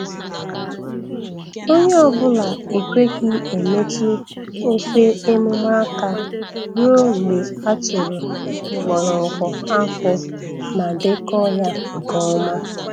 Onye ọ bụla ekweghị emetụ ofe emume aka ruo mgbe a tụrụ mgbọrọgwụ akpụ ma dekọọ ya nke ọma.